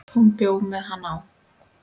Hún bjó með hann á